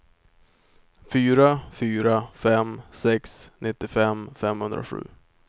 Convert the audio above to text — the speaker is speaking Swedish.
fyra fyra fem sex nittiofem femhundrasju